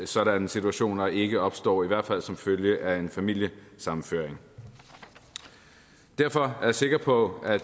sådanne situationer ikke opstår i hvert fald ikke som følge af en familiesammenføring derfor er jeg sikker på at